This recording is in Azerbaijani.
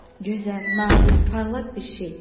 Gözəl, nadir, parlaq bir şey.